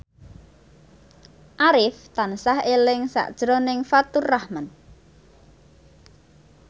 Arif tansah eling sakjroning Faturrahman